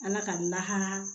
Ala ka n lahara